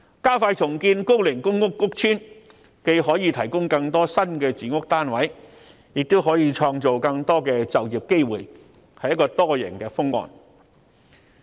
加快重建高齡公屋屋邨，既可提供更多新的住屋單位，亦可創造更多就業機會，確是多贏的方案。